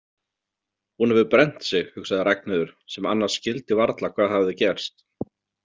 Hún hefur brennt sig, hugsaði Ragnheiður sem annars skildi varla hvað hafði gerst.